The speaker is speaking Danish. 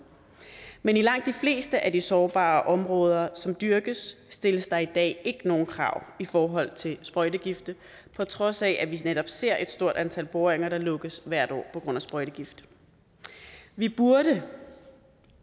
men i langt de fleste af de sårbare områder som dyrkes stilles der i dag ikke nogen krav i forhold til sprøjtegifte på trods af at vi netop ser et stort antal boringer der lukkes hvert år på grund af sprøjtegift vi burde